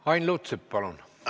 Ain Lutsepp, palun!